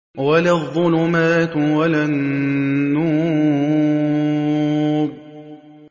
وَلَا الظُّلُمَاتُ وَلَا النُّورُ